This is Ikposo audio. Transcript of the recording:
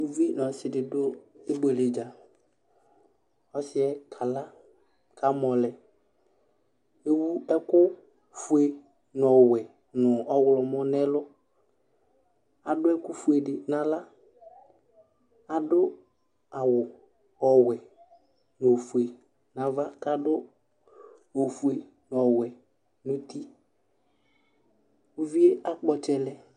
uluvi nu ɔsi du ibuele dza ɔsiɛ kala kamɔ lɛ ewu ɛku fue nu ɔwɛ nu ɔɣlomɔ nu ɛlu adu ɛkufue di naɣla adu awu ɔwɛ nu ofue nava kadu ofue nu ɔwɛ nu uti uvie akpɔ ɔtsɛlɛ lɛ